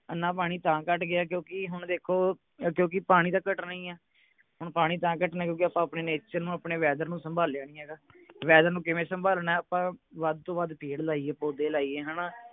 ਇੰਨਾ ਪਾਣੀ ਤਾਂ ਘੱਟ ਗਿਆ ਕਿਓਂਕਿ ਹੁਣ ਦੇਖੋ ਕਿਓਂਕਿ ਪਾਣੀ ਤਾਂ ਘਟਣਾ ਈ ਹੈ ਹੁਣ ਪਾਣੀ ਤਾਂ ਘਟਣੇ ਕਿਓਂਕਿ ਆਪਾਂ ਆਪਣੇ nature ਨੂੰ ਆਪਣੇ weather ਨੂੰ ਸੰਭਾਲਿਆ ਨਹੀਂ ਹੈਗਾ weather ਨੂੰ ਕਿਵੇਂ ਸੰਭਾਲਣੇ ਆਪਾਂ ਵੱਧ ਤੋਂ ਵੱਧ ਪੇੜ ਲਾਈਏ ਪੌਧੇ ਲਾਈਏ ਹਣਾ